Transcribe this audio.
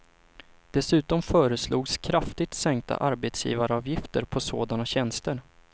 Dessutom föreslogs kraftigt sänkta arbetsgivaravgifter på sådana tjänster.